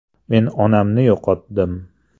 “Men onamni yo‘qotdim.